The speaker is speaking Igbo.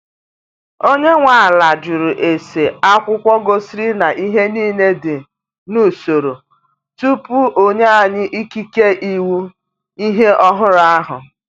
Onye nwe ala jụrụ ese akwụkwọ gosiri na ihe niile dị n’usoro tupu onye anyi ikike ịwụ ihe ọhụrụ ahụ.